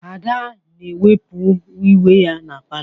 Ada na-ewipụ uwe ya na palọ.